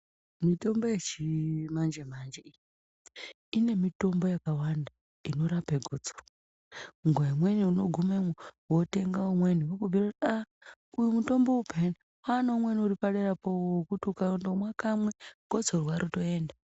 Mitombo yechimanje manje iyi, inemitombo yakawanda inorape gotsoro. Nguva imweni unogumemwo wotenge umweni vokubhuira kuti ,"uyu mutombo uyu paneunweni uripadera pawo wokuti ukangomwa kamwe gotsorwa rotoenda."